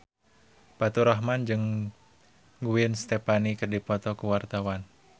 Faturrahman jeung Gwen Stefani keur dipoto ku wartawan